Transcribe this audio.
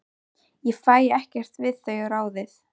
Ég fæ ekkert við þau ráðið.